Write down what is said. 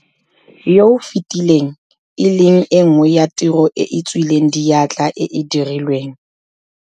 yo o fetileng, e leng e nngwe ya tiro e e tswileng diatla e e dirilweng.